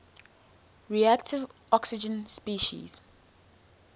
reactive oxygen species